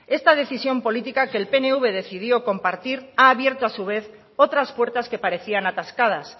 esta decisión política que el pnv decidió compartir ha abierto a su vez otras puertas que parecían atascadas